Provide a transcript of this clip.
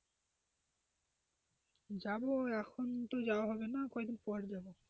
যাব এখন তো যাওয়া হবে না কয়েকদিন পর যাব.